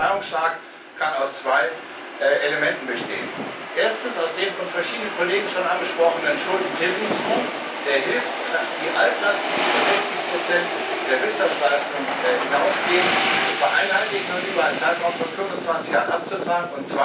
Dieser Befreiungsschlag kann aus zwei Elementen bestehen Erstens aus dem von verschiedenen Kollegen schon angesprochenen Schuldentilgungsfonds, der hilft, die Altlasten, die über 60 der Wirtschaftsleistung hinausgehen, zu vereinheitlichen und über einen Zeitraum von 25 Jahren abzutragen.